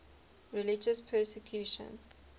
religious persecution